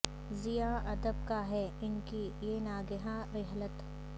زیاں ادب کا ہے ان کی یہ ناگہاں رحلت